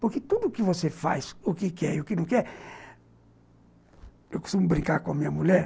Porque tudo o que você faz, o que quer e o que não quer... Eu costumo brincar com a minha mulher.